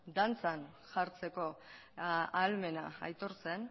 dantzan jartzeko ahalmena aitortzen